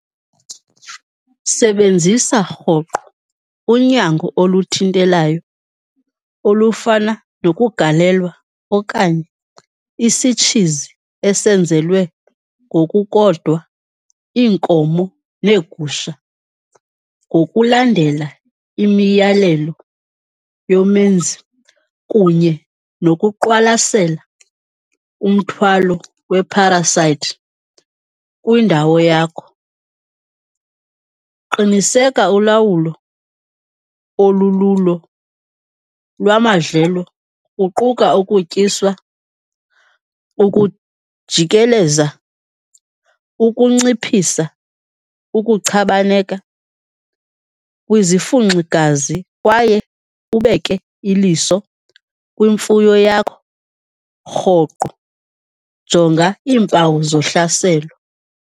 Sebenzisa rhoqo unyango oluthintelayo olufana nokugalela okanye isitshizi esenzelwa ngokukodwa iinkomo neegusha ngokulandela imiyalelo yomenzi, kunye nokuqwalasela umthwalo we-parasite kwindawo yakho. Qiniseka ulawulo olululo lwamadlelo kuquka ukutyiswa, ukujikeleza, ukunciphisa, ukuchabaneka kwizifunxigazi kwaye ubeke iliso kwimfuyo yakho rhoqo. Jonga iimpawu zohlaselo.